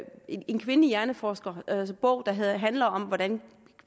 en kvindelig hjerneforskers bog der handler om hvordan